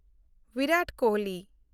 Virat Kohli